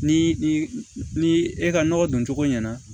Ni ni e ka nɔgɔ don cogo ɲɛna